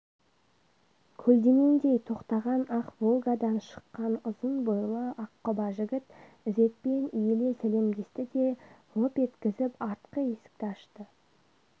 көлденеңдей тоқтаған ақ волгадан шыққан ұзын бойлы аққұба жігіт ізетпен иіле сәлемдесті де лып еткізіп артқы есікті ашты